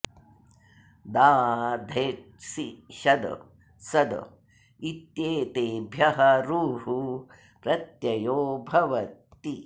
दा धेट् सि शद सद इत्येतेभ्यः रुः प्रत्ययो भवति